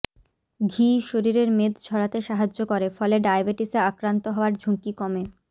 ঘি শরীরের মেদ ঝরাতে সাহায্য করে ফলে ডায়াবেটিসে আক্রান্ত হওয়ার ঝুঁকি কমে